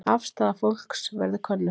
Afstaða fólks verði könnuð